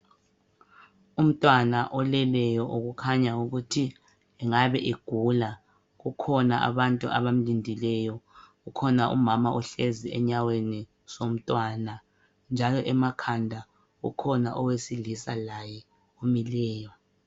Umntwana oleleyo okukhanya ukuthi engabe egula. Kukhona abantu abamlindileyo. Kukhona umama ohlezi enyaweni zomntwana njalo emakhanda kukhona owesilisa laye omileyo.